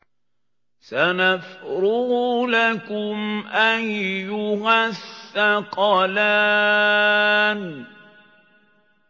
سَنَفْرُغُ لَكُمْ أَيُّهَ الثَّقَلَانِ